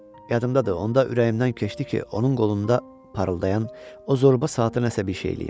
Yadımdadır, onda ürəyimdən keçdi ki, onun qolunda parıldayan o zorba saata nəsə bir şey eləyim.